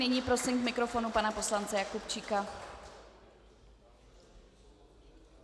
Nyní prosím k mikrofonu pana poslance Jakubčíka.